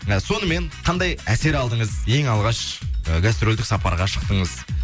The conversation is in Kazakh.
ы сонымен қандай әсер алдыңыз ең алғаш і гастрольдік сапарға шықтыңыз